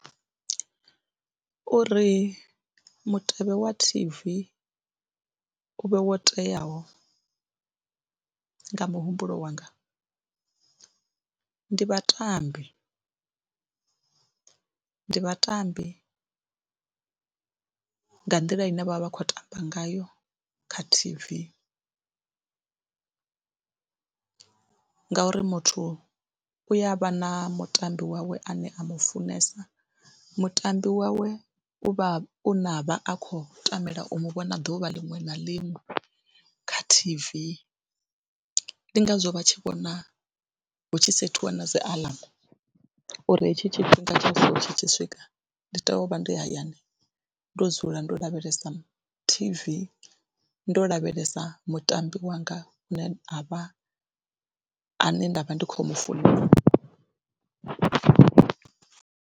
Uri mutevhe wa T_V u vhe wo teaho nga muhumbulo wanga ndi vhatambi, ndi vhatambi nga nḓila ine vha vha vha khou tamba ngayo kha T_V ngauri muthu u ya vha na mutambi wawe ane a m ufunesa, mutambi wawe u vha u na vha a khou tamela u mu vhona ḓuvha liṅwe na liṅwe kha T_V, ndi ngazwo vha tshi vhona hu tshi sethiwa na dzi aḽamu uri hetshi tshifhinga tsha so tshi tshi swika ndi tea u vha ndi hayani ndo dzula ndo lavhelesa T_V, ndo lavhelesa mutambi wanga u ne a vha ane nda vha ndi khou mu funa.